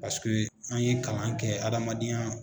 Paseke an ye kalan kɛ adamadenya